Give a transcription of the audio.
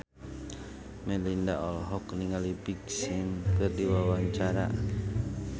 Melinda olohok ningali Big Sean keur diwawancara